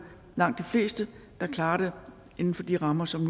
langt de fleste der klarer det inden for de rammer som